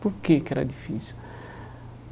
Por que que era difícil?